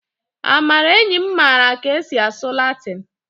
amara enyim mara ka esi asụ latịn